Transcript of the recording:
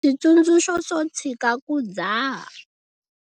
Switsundzuxo swo tshika ku dzaha.